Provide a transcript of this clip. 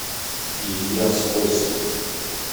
илья скостив